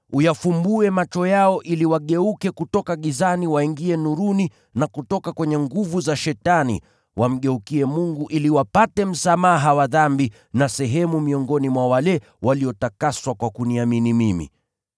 uyafumbue macho yao ili wageuke kutoka gizani waingie nuruni, na kutoka kwenye nguvu za Shetani wamgeukie Mungu, ili wapate msamaha wa dhambi na sehemu miongoni mwa wale waliotakaswa kwa kuniamini mimi.’